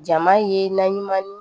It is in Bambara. Jama ye naɲuman ye